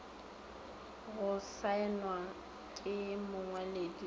go saenwa ke mongwaledi le